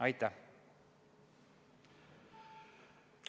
Aitäh!